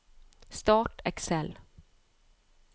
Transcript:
Start Excel